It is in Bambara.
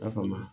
I y'a faamu